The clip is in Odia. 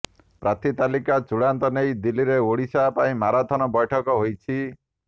ପ୍ରାର୍ଥୀ ତାଲିକା ଚୂଡ଼ାନ୍ତ ନେଇ ଦିଲ୍ଲୀରେ ଓଡ଼ିଶା ପାଇଁ ମାରାଥନ ବୈଠକ ହୋଇଛି